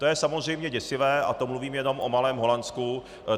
To je samozřejmě děsivé, a to mluvím jenom o malém Holandsku.